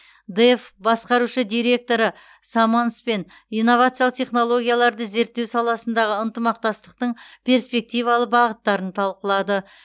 дэф басқарушы директоры саманспен инновациялық технологияларды реттеу саласындағы ынтымақтастықтың перспективалы бағыттарын талқылады